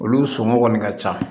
Olu somɔgɔw kɔni ka ca